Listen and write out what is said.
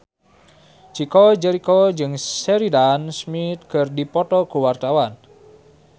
Chico Jericho jeung Sheridan Smith keur dipoto ku wartawan